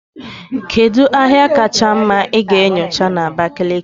Kedu ahịa kacha mma ị ga-enyocha na Abakaliki?